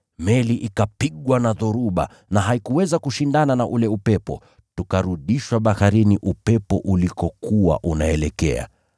Meli ikapigwa na dhoruba na haikuweza kushindana na ule upepo, tukarudishwa baharini upepo ulikokuwa unaelekea.